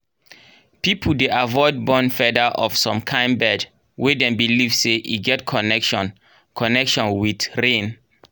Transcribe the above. people dey avoid burn feather of some kain bird wey dem believe say e get connection connection with rain.